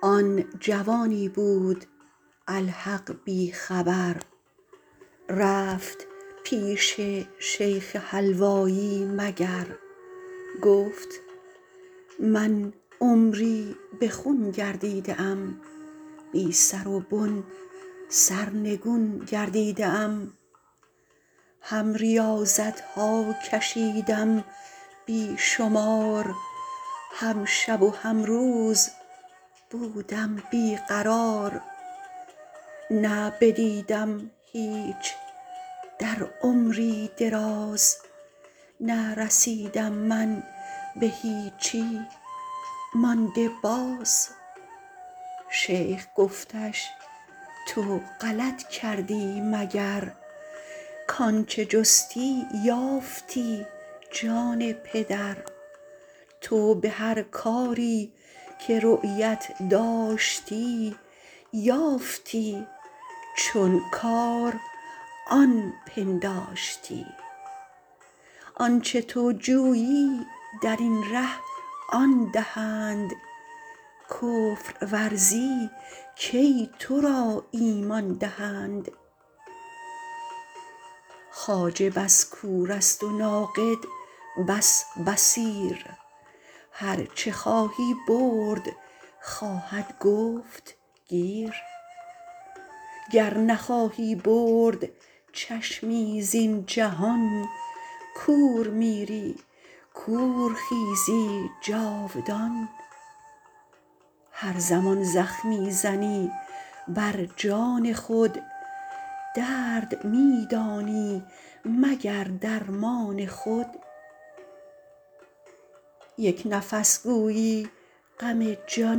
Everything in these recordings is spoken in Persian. آن جوانی بود الحق بی خبر رفت پیش شیخ حلوایی مگر گفت من عمری بخون گردیده ام بی سر و بن سرنگون گردیده ام هم ریاضتها کشیدم بیشمار هم شب و هم روز بودم بیقرار نه بدیدم هیچ در عمری دراز نه رسیدم من بهیچی مانده باز شیخ گفتش تو غلط کردی مگر کانچه جستی یافتی جان پدر تو بهر کاری که رؤیت داشتی یافتی چون کار آن پنداشتی آنچه تو جویی درین ره آن دهند کفر ورزی کی ترا ایمان دهند خواجه بس کورست و ناقد بس بصیر هرچه خواهی برد خواهد گفت گیر گر نخواهی برد چشمی زین جهان کور میری کور خیزی جاودان هر زمان زخمی زنی برجان خود درد میدانی مگر درمان خود یک نفس گویی غم جان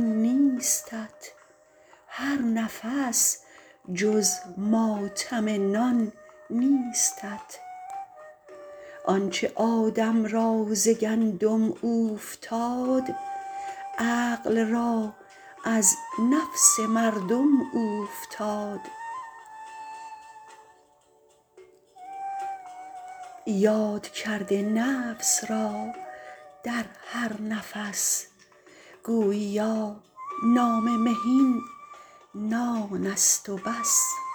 نیستت هر نفس جز ماتم نان نیستت آنچه آدم را ز گندم اوفتاد عقل را از نفس مردم اوفتاد یاد کرد نفس را در هر نفس گوییا نام مهین نانست و بس